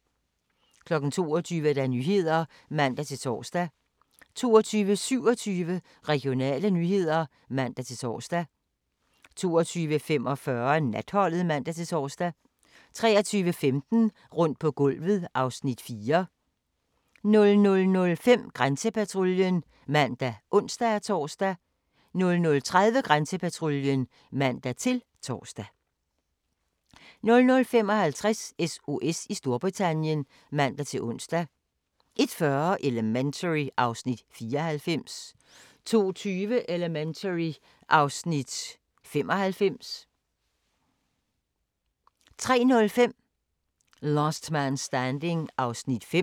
22:00: Nyhederne (man-tor) 22:27: Regionale nyheder (man-tor) 22:45: Natholdet (man-tor) 23:15: Rundt på gulvet (Afs. 4) 00:05: Grænsepatruljen (man og ons-tor) 00:30: Grænsepatruljen (man-tor) 00:55: SOS i Storbritannien (man-ons) 01:40: Elementary (Afs. 94) 02:20: Elementary (Afs. 95) 03:05: Last Man Standing (5:24)